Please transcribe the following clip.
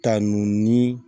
Ta nunnu ni